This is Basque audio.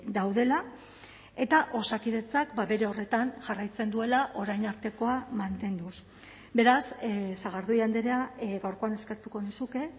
daudela eta osakidetzak bere horretan jarraitzen duela orain artekoa mantenduz beraz sagardui andrea gaurkoan eskertuko nizuke